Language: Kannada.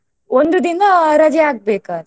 ಒಂದು ದಿನಾ ರಜೆ ಹಾಕ್ಬೇಕಾ.